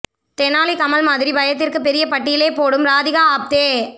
தெனாலி கமல் மாதிரி பயத்திற்கு பெரிய பட்டியலே போடும் ராதிகா ஆப்தே